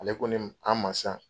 Ale ko ne an ma sisan.